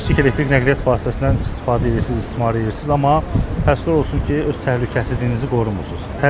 Bu kiçik elektrik nəqliyyat vasitəsindən istifadə edirsiz, istismar edirsiz, amma təəssüf olsun ki, öz təhlükəsizliyinizi qorumursunuz.